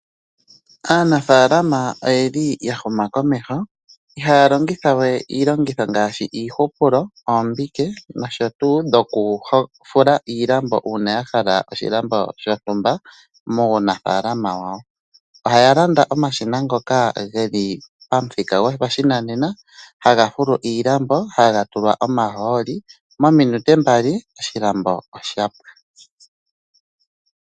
Aanafaaalma oya huma komeho ihaya longitha we iilongitho ngaashi iihupulo, ombike nosho tuu okufula iilambo uuna ya hala oshilambo shontumba muunafaalama wawo. Oya landa omashina ngoka ge li pomuthika gopashinanena haga fulu iilambo nohaga tulwa omahooli, mominute mbali oshilambo osha pwa.